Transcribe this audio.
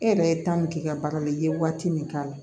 E yɛrɛ ye min k'i ka baara la i ye waati min k'a la